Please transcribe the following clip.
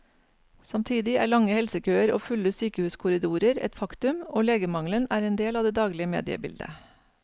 Samtidig er lange helsekøer og fulle sykehuskorridorer et faktum, og legemangelen er en del av det daglige mediebildet.